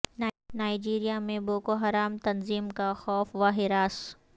Nigeria میں Boko Haram تنظیم کا خوف و ہراس